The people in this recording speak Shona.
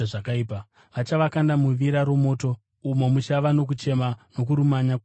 Vachavakanda muvira romoto umo muchava nokuchema nokurumanya kwameno.